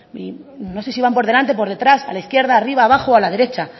no sé si van por delante por detrás a la izquierda arriba abajo o a la derecha